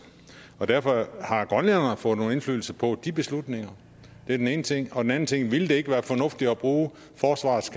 og derfor har grønlænderne fået nogen indflydelse på de beslutninger det er den ene ting og den anden ting er ville det ikke være fornuftigere at bruge forsvarets